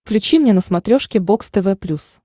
включи мне на смотрешке бокс тв плюс